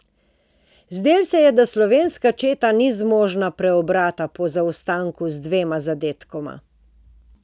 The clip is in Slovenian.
Zdelo se je, da slovenska četa ni zmožna preobrata po zaostanku z dvema zadetkoma.